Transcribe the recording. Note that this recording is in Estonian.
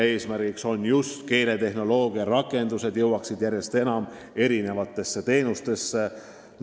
Eesmärk on, et keeletehnoloogia rakendusi kasutataks järjest enam erinevate teenuste osutamisel.